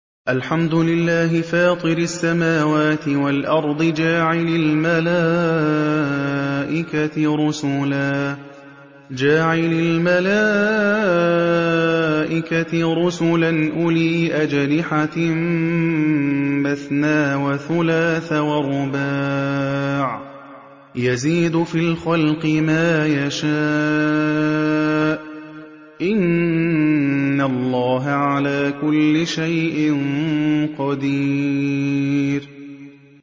الْحَمْدُ لِلَّهِ فَاطِرِ السَّمَاوَاتِ وَالْأَرْضِ جَاعِلِ الْمَلَائِكَةِ رُسُلًا أُولِي أَجْنِحَةٍ مَّثْنَىٰ وَثُلَاثَ وَرُبَاعَ ۚ يَزِيدُ فِي الْخَلْقِ مَا يَشَاءُ ۚ إِنَّ اللَّهَ عَلَىٰ كُلِّ شَيْءٍ قَدِيرٌ